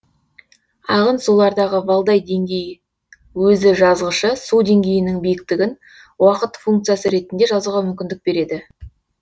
ағын сулардағы валдай деңгей өзіжазғышы су деңгейінің биіктігін уақыт функциясы ретінде жазуға мүмкіндік береді